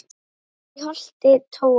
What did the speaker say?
þaut í holti tóa